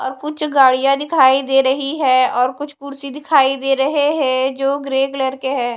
अ कुछ गाड़ियां दिखाई दे रही है और कुछ कुर्सी दिखाई दे रहे है जो ग्रे कलर के है।